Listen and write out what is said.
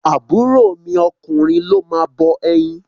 Àbúrọ̀ mi ọkùnrin ló máa bọ ẹyin.